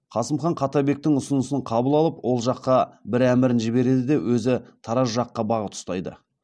қасым хан қаттабектің ұсынысын қабыл алып ол жаққа бір әмірін жібереді де өзі тараз жаққа бағыт ұстайды